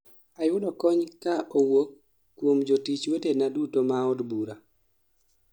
Ayudo kony kaa owuok kuom jotich wetena duto ma od bura